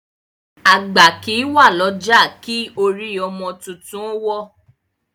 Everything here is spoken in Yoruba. Agba kìí wa lọja ki orí ọmọ tuntun o wo